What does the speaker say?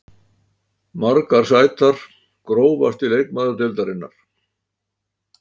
Margar sætar Grófasti leikmaður deildarinnar?